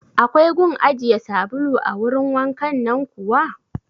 Akwai gun ajiye sabulu a wurin wankan nan kuwa?